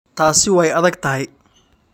Taasi way adagtahay.